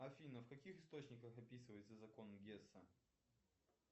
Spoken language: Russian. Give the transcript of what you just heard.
афина в каких источниках описывается закон гесса